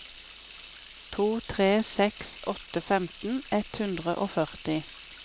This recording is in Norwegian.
to tre seks åtte femten ett hundre og førti